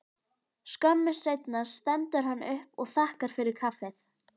Skömmu seinna stendur hann upp og þakkar fyrir kaffið.